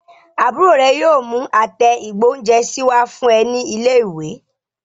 Àbúrò rẹ yóò mú àtẹ ìgbóhúnjẹsí wá fún ẹ ní ilé ìwé